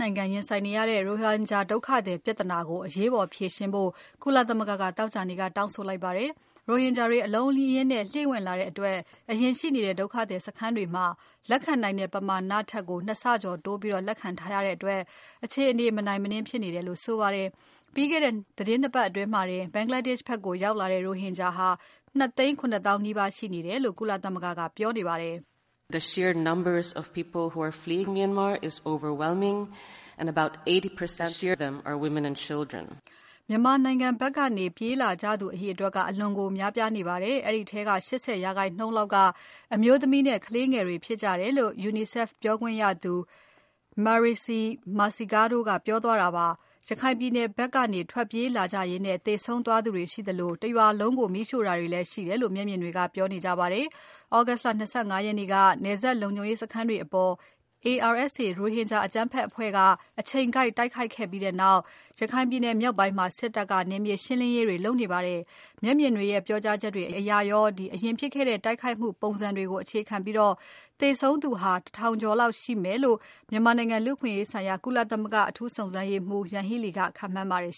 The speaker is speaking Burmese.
နိုင်ငံရင်ဆိုင်နေရတဲ့ ရိုဟင်ဂျာဒုက္ခသည်ပြဿနာကို အရေးပေါ်ဖြေရှင်းဖို့ ကုလသမဂ္ဂက သောကြာနေ့က တောင်းဆိုလိုက်ပါတယ်။ ရိုဟင်ဂျာတွေ အလုံးအရင်းနဲ့ လှိမ့်ဝင်လာတဲ့အတွက် အရင်ရှိနေတဲ့ ဒုက္ခသည်စခန်းတွေမှာ လက်ခံနိုင်တဲ့ ပမာဏထက်ကို ၂ ဆကျော်တိုးပြီး လက်ခံထားရတဲ့အတွက် အခြေအနေ မနိုင်မနင်းဖြစ်နေတယ်လို့ဆိုပါတယ်။ ပြီးခဲ့တဲ့ သီတင်း ၂ ပါတ်အတွင်းမှာတင် Bangladesh ဖက်ရောက်လာတဲ့ ရိုဟင်ဂျာ ၂ သိန်း ၇ သောင်းနီးပါးရှိနေတယ်လို့ ကုလသမဂ္ဂက ပြောပါတယ်။ "မြန်မာဘက်ကနေ ပြေးလာကြသူတွေအရေအတွက်က အလွန်ကိုများပြားနေပါတယ်။ အဲဒီထဲက ၈၀% လောက်က အမျိုးသမီးနဲ့ ကလေးငယ်တွေဖြစ်ကြလို့ UNICEF ပြောခွင့်ရသူ Marixie Mercado ပြောသွားတာပါ။ ရခိုင်ပြည်နယ်ဘက်ကနေ ထွက်ပြေးလာကြရင်း သေဆုံးသွားသူတွေရှိသလို တရွာလုံးကို မီးရှို့တာတွေလည်းရှိတယ်လို့ မျက်မြင်တွေက ပြောနေကြပါတယ်။ August လ ၂၅ ရက်နေ့က နယ်စပ်လုံခြုံရေးစခန်းတွေအပေါ် ARSA ရိုဟင်ဂျာ အကြမ်းဖက်အဖွဲ့က အချိန်ကိုက် တိုက်ခိုက်ခဲ့ပြီးနောက် ရခိုင်ပြည်နယ်မြောက်ပိုင်းမှာ စစ်တပ်က နယ်မြေရှင်းလင်းရေးတွေ လုပ်နေပါတယ်။ မျက်မြင်တွေရဲ့ ပြောကြားချက်တွေ အရင်ဖြစ်ခဲ့တဲ့ တိုက်ခိုက်မှု ပုံစံတွေကိုအခြေခံပြီး သေဆုံးသူ ၁ ထောင်ကျော်လောက်ရှိမယ်လို့ မြန်မာနိုင်ငံ လူ့အခွင့်အရေးဆိုင်ရာ အထူးစုံစမ်းရေးမှူး Yanghee Lee က ခန့်မှန်းပါတယ်